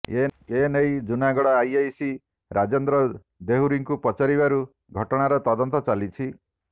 ଏନେଇ ଜୁନାଗଡ ଆଇଆଇସି ରାଜେନ୍ଦ୍ର ଦେହୁରୀଙ୍କୁ ପଚାରିବାରୁ ଘଟଣାର ତଦନ୍ତ ଚାଲିଛି